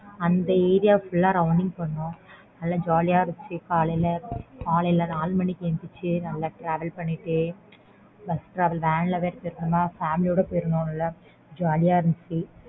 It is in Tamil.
அந்த area full ஆஹ் rounding பண்ணோம் நல்ல jolly யா இருந்துச்சு காலை ல காலைல நாலு மணிக்கு எந்திரிச்சி நல்ல travel பண்ணிட்டு bus travelvan வேற போயிருந்தோமா family ஓட போயிருந்தோம் நல்ல jolly யா இருந்துச்சு